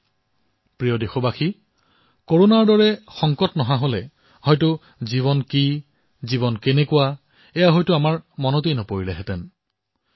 মোৰ মৰমৰ দেশবাসীসকল কৰোনা সংকট যদি নাহিলহেঁতেন তেন্তে জীৱন কি জীৱন কিয় জীৱন কেনেকুৱা আমি হয়তো লক্ষ্যই নকৰিলোহেঁতেন